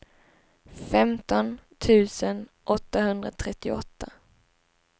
femton tusen åttahundratrettioåtta